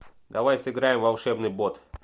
давай сыграем в волшебный бот